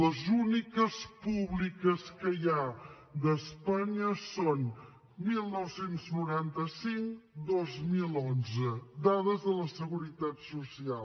les úniques públiques que hi ha d’espanya són dinou noranta cinc dos mil onze dades de la seguretat social